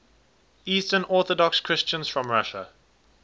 eastern orthodox christians from russia